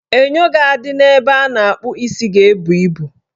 Enyo ga-adị n' ebe a na-akpụ isi ga-ebu ibu